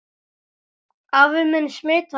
Afi minn smitaði mig.